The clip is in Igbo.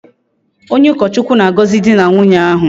Onye ukochukwu na-agozi di na nwunye ahu